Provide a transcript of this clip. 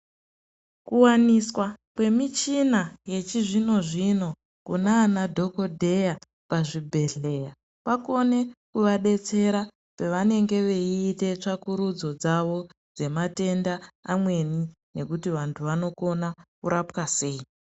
Kuwaniswa kwemichina yechizvino zvino kunana dhokodheya pazvibhedhleya kwakone kuadetsera pevanenge veiite tsvakurudzo dzawo dzematenda amweni nekuti antu anokona kurapwa sei.